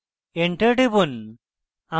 enter টিপুন